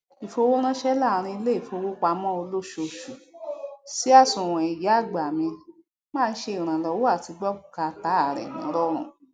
ìfowóránsẹ láàrín iléìfowópamọ olóṣooṣù sí àsùwọn ìyá àgbà mi máa ń ṣe ìrànlọwọ àti gbọ bùkátà rẹ nírọrùn